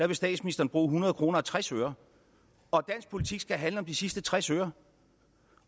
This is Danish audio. vil statsministeren bruge hundrede kroner og tres øre og at dansk politik skal handle om de sidste tres øre